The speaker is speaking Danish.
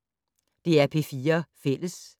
DR P4 Fælles